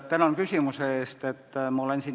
Tänan küsimuse eest!